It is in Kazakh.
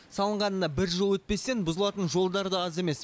салынғанына бір жыл өтпестен бұзылатын жолдар да аз емес